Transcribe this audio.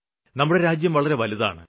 നമ്മുടെ രാജ്യം വളരെ വലുതാണ്